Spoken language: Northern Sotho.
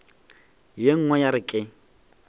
ye nngwe ya re ke